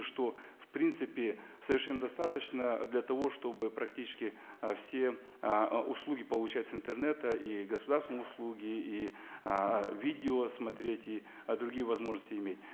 что впринципе совершенно достаточно для того чтобы практически ы все ыыы услуги получать с интернета и государственные услуги и ыыы видео смотреть и другие возможности иметь